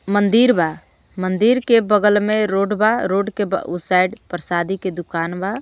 मंदिर बा मंदिर के बगल में रोड बा रोड के ब _ग _ साइड परशादी के दुकान बा.